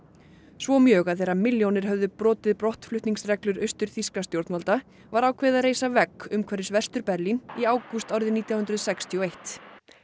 svo mjög að þegar milljónir höfðu brotið brottflutningsreglur austurþýskra stjórnvalda var ákveðið að reisa vegg umhverfis Vestur Berlín í ágúst árið nítján hundruð sextíu og eitt